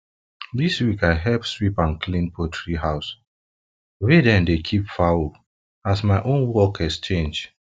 this week i help sweep and clean poultry house wey dem dey wey dem dey keep fowl as my own work exchange